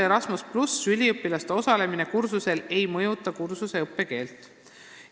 " Erasmus+ üliõpilaste osalemine kursusel ei mõjuta ülikoolide kinnitusel kursuse õppekeelt.